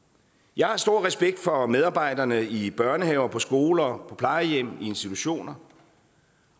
jeg har stor respekt for medarbejderne i børnehaver og på skoler og på plejehjem og i institutioner